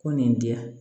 Ko nin di yan